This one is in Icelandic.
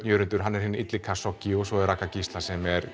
Jörundur er hinn illi Kashoggi og svo er Ragga Gísla sem er